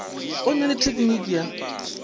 o na le tekniki ya